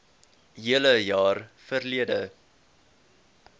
hele jaar verlede